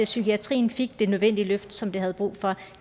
psykiatrien fik det nødvendige løft som den har brug for